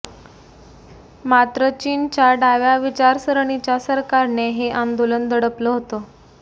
मात्र चीनच्या डाव्या विचारसरणीच्या सरकारने हे आंदोलन दडपलं होतं